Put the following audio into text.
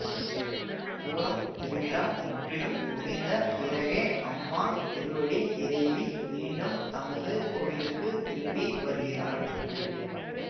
பூரம் திருவிழா முற்றிலும் முடிந்த பிறகே அம்மா திருவடி இறைவி மீண்டும் தமது கோவிலுக்கு திரும்பி வருகிறாள்